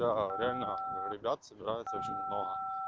реально ребят собирается очень много